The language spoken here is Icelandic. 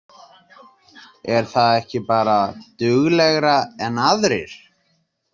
Er það ekki bara duglegra en aðrir?